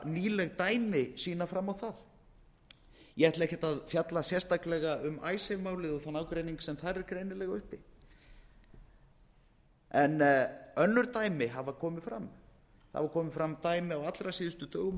nýleg dæmi sýna fram á það ég ætla ekki að fjalla sérstaklega um icesave málið og þann ágreining sem þar er greinilega uppi en önnur dæmi hafa komið fram það hafa komið fram dæmi á allra síðustu dögum